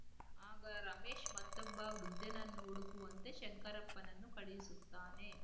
ಆಗ ರಮೇಶ್‌ ಮತ್ತೊಬ್ಬ ವೃದ್ಧನನ್ನು ಹುಡುಕುವಂತೆ ಶಂಕರಪ್ಪನನ್ನು ಕಳುಹಿಸುತ್ತಾನೆ